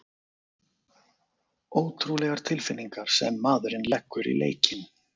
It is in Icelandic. Ótrúlegar tilfinningar sem maðurinn leggur í leikinn!